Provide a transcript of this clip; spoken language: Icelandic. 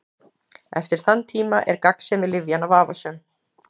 Eftir þann tíma er gagnsemi lyfjanna vafasöm.